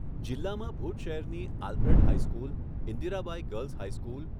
જિલ્લામાં ભુજ શહેરની Alfred high school, Indirabai girls high school,